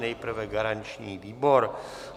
Nejprve garanční výbor.